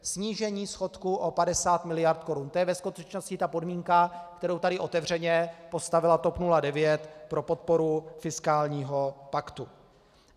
Snížení schodku o 50 mld. korun, to je ve skutečnosti ta podmínka, kterou tady otevřeně postavila TOP 09 pro podporu fiskálního paktu.